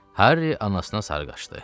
Harry anasına sarı qaşdı.